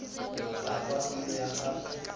a kwa pelo ya gagwe